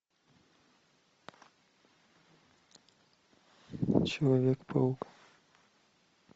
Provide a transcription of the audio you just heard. человек паук